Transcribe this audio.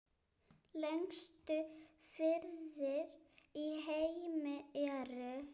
Lengstu firðir í heimi eru